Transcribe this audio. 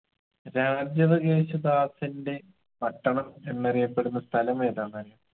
രാജവകേശദാസന്റെ പട്ടണം എന്നറിയപ്പെടുന്ന സ്ഥലം ഏതാന്നറിയോ